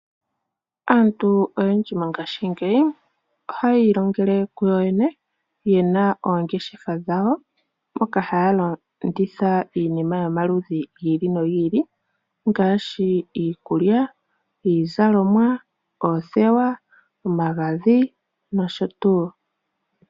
Aantu oyendji mongashingeyi oha ya iilongele kuyo yene, ye na oongeshefa dhawo hoka ha ya landitha iinima yomaludhi gi ili no gi ili ngaashi iikulya, iizalomwa, oothewa, omagadhi nosho tuu.